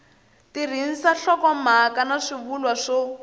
tirhisa nhlokomhaka na swivulwa swo